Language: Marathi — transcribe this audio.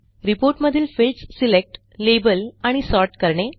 रिपोर्ट मधील फील्ड्स सिलेक्ट लाबेल आणि सॉर्ट करणे